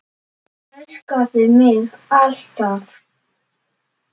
Elskaðu mig alt af.